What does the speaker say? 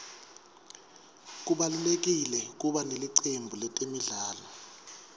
kubalulekile kuba nelicembu letemidlalo